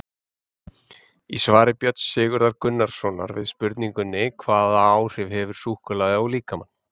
Í svari Björns Sigurðar Gunnarssonar við spurningunni Hvaða áhrif hefur súkkulaði á líkamann?